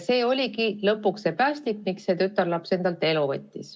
See oligi lõpuks päästik, miks tütarlaps endalt elu võttis.